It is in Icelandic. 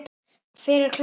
Hver er klár?